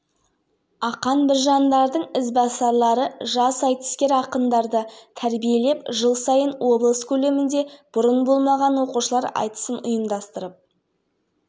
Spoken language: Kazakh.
ақмола өңірінен қазақстанның киелі орны республикалық тізіміне нысанды қамтитын жоба енді ал жалпы аймақтағы тарихи-мәдени нысандарды қайта қалпына келтіруге миллиард теңге